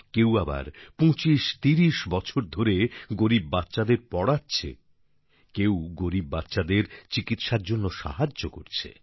কেউ আবার ২৫৩০ বছর ধরে গরিব বাচ্চাদের পড়াচ্ছে কেউ গরিব বাচ্চাদের চিকিৎসার জন্য সাহায্য করছে